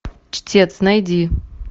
чтец найди